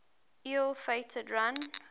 ill fated run